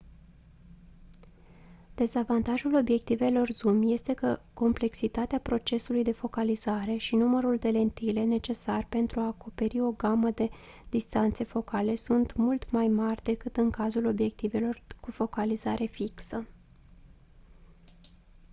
dezavantajul obiectivelor zoom este că complexitatea procesului de focalizare și numărul de lentile necesar pentru a acoperi o gamă de distanțe focale sunt mult mai mari decât în cazul obiectivelor cu focalizare fixă